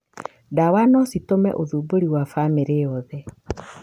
Ndawa no citũme ũthumbũri wa bamĩrĩ yothe.